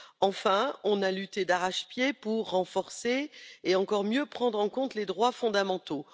Enfin, nous avons lutté d'arrache pied pour renforcer et encore mieux prendre en compte les droits fondamentaux.